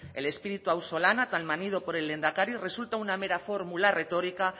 el espíritu auzolana tan manido por el lehendakari resulta una mera fórmula retórica